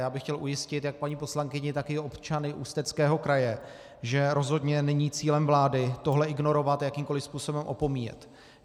Já bych chtěl ujistit jak paní poslankyni, tak i občany Ústeckého kraje, že rozhodně není cílem vlády tohle ignorovat a jakýmkoliv způsobem opomíjet.